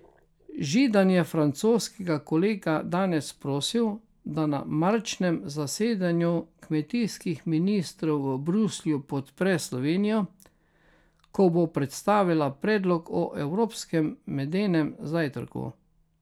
Židan je francoskega kolega danes prosil, da na marčnem zasedanju kmetijskih ministrov v Bruslju podpre Slovenijo, ko bo predstavila predlog o evropskem medenem zajtrku.